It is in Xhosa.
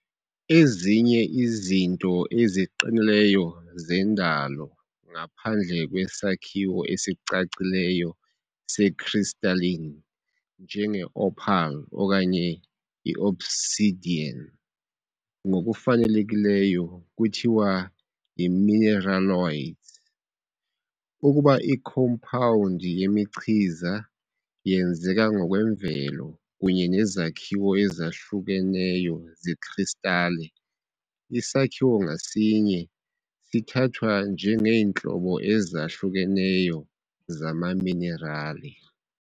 Ezinye izinto eziqinileyo zendalo ngaphandle kwesakhiwo esicacileyo se-crystalline, njenge-opal okanye i-obsidian, ngokufanelekileyo kuthiwa yi-mineraloids. Ukuba ikhompawundi yemichiza yenzeka ngokwemvelo kunye nezakhiwo ezahlukeneyo zekristale, isakhiwo ngasinye sithathwa njengeentlobo ezahlukeneyo zamaminerali.